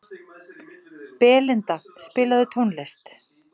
Belinda, spilaðu tónlist.